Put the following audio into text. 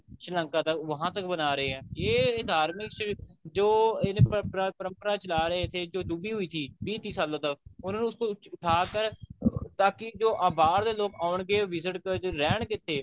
ਸ਼੍ਰੀ ਲੰਕਾ ਤੱਕ ਵਹਾਂ ਤੱਕ ਬਣਾ ਰਹੇ ਹੈ ਯੇ ਧਾਰਮਿਕ ਜੋ ਇੰਨ ਪ੍ਰਮਪਰਾ ਚਲਾ ਰਹੇ ਥੇ ਜੋ ਡੁੱਬੀ ਹੁਈ ਥੀ ਵਿਹ ਤੀਹ ਸਾਲੋ ਤੱਕ ਉਨਹੋ ਨੇ ਉਸਕੋ ਉਠਾ ਕਰ ਤਾਕਿ ਜੋ ਬਾਹਰ ਦੇ ਲੋਕ ਆਉਣਗੇ visit ਕਰਨ ਜੋ ਰਹਿਣਗੇ ਇੱਥੇ